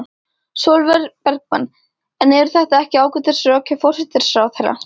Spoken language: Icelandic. Sólveig Bergmann: En eru þetta ekki ágætis rök hjá forsætisráðherra?